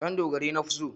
Ɗandogarai nafi so.